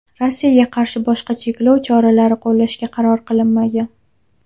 Rossiyaga qarshi boshqa cheklov choralari qo‘llashga qaror qilinmagan.